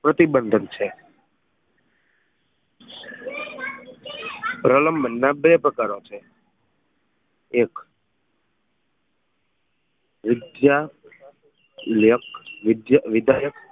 પ્રતિબંધક છે પ્રલંબન ના બે પ્રકારો છે એક વિધ યક વિધાયક